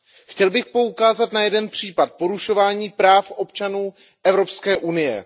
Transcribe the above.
Chtěl bych poukázat na jeden případ porušování práv občanů Evropské unie.